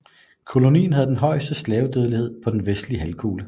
Kolonien havde den højeste slavedødelighed på den vestlige halvkugle